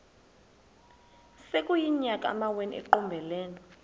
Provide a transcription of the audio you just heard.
sekuyiminyaka amawenu ekuqumbele